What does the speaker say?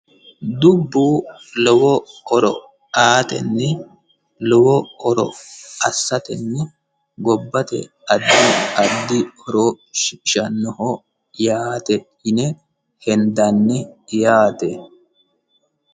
Dubbu lowo horo aatenni lowo horo assateni gobbate addi addi horo shiqishannoho yaate yine henidanni yaate.